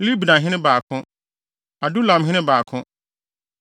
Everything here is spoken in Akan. Libnahene 2 baako 1 Adulamhene 2 baako 1